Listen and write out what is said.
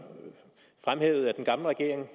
fremhævede at den gamle regering jo